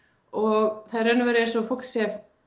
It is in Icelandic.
og það er í raun og veru eins og fólk sé